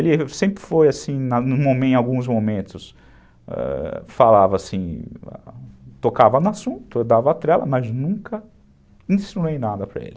Ele sempre foi assim, em alguns momentos, falava assim, tocava no assunto, eu dava trela, mas nunca insinuei nada para ele.